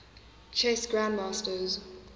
chess grandmasters